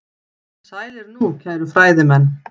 Sælir nú, kæru fræðimenn.